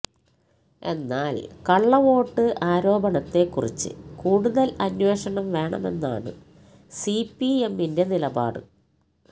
എന്നാല് കള്ളവോട്ട് ആരോപണത്തെക്കുറിച്ച് കൂടുതല് അന്വേഷണം വേണമെന്നാണ് സിപിഎമ്മിന്റെ നിലപാട്